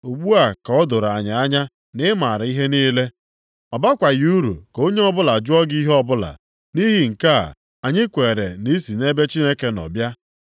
Ugbu a ka o doro anyị anya na ị maara ihe niile. Ọ bakwaghị uru ka onye ọbụla jụọ gị ihe ọbụla. Nʼihi nke a, anyị kwere na i si nʼebe Chineke nọ bịa.”